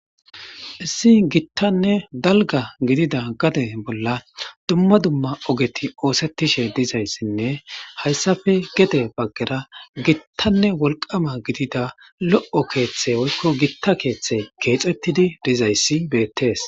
Issi gitane daliga gidida gade bola dumma dumma ogeti oseteshe dizayisine hayisappe gede bagera gita woliqama gidida lo'o keththay woyikko gita keeththay kexetidi deiyayis betes.